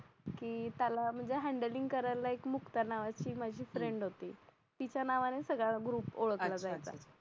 की त्याला म्हणजे हॅन्डलींग एक मुक्ता नावाची माझी फ्रेंड होती तिच्या नावाने सगळा ग्रुप ओळखला जायचा